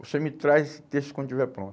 Você me traz esse texto quando estiver pronto.